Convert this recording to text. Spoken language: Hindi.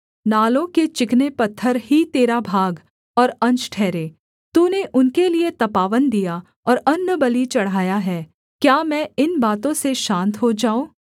नालों के चिकने पत्थर ही तेरा भाग और अंश ठहरे तूने उनके लिये तपावन दिया और अन्नबलि चढ़ाया है क्या मैं इन बातों से शान्त हो जाऊँ